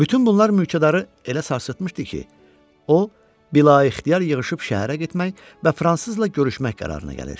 Bütün bunlar mülkədarı elə sarsıtmışdı ki, o, bilə-ixtiyar yığışıb şəhərə getmək və fransızla görüşmək qərarına gəlir.